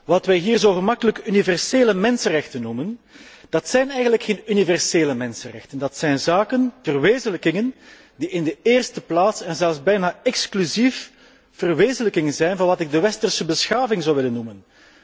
Wat wij hier zo gemakkelijk universele mensenrechten noemen, zijn eigenlijk geen universele mensenrechten, maar zaken, verwezenlijkingen, die in de eerste plaats en zelfs bijna exclusief verwezenlijkingen zijn van wat ik de westerse beschaving zou willen noemen.